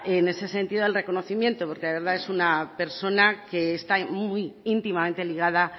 en ese sentido el reconocimiento porque de verdad es una persona que está muy íntimamente ligada